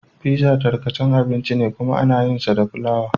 Pizza tarkacan abinci ne kuma ana yinsa da fulawa.